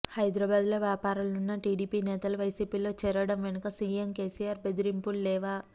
హైదరాబాద్లో వ్యాపారాలున్న టీడీపీ నేతలు వైసీపీలో చేరడం వెనుక సీఎం కేసీఆర్ బెదిరింపులు లేవా